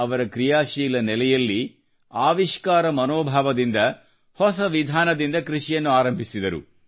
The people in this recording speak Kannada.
ಅವರು ಕ್ರಿಯಾಶೀಲ ನೆಲೆಯಲ್ಲಿ ಆವಿಷ್ಕಾರ ಮನೋಭಾವದಿಂದ ಹೊಸ ವಿಧಾನದಿಂದ ಕೃಷಿಯನ್ನು ಆರಂಭಿಸಿದರು